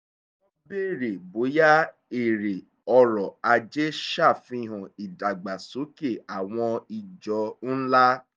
wọ́n bèèrè bóyá èrè ọrọ̀ ajé sàfihàn ìdàgbàsókè àwọn ìjọ ńlá